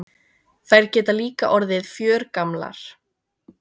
Þær geta líka orðið fjörgamlar.